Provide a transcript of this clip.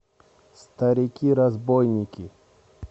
старики разбойники